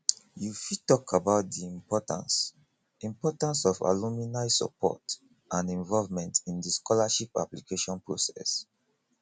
you fit talk about di importance importance of alumni support and involvement in di scholarship application process